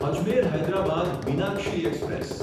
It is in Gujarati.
અજમેર હૈદરાબાદ મીનાક્ષી એક્સપ્રેસ